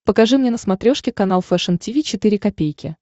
покажи мне на смотрешке канал фэшн ти ви четыре ка